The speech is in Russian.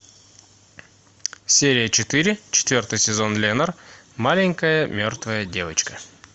серия четыре четвертый сезон ленор маленькая мертвая девочка